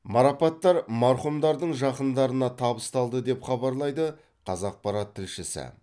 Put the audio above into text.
марапаттар марқұмдардың жақындарына табысталды деп хабарлайды қазақпарат тілшісі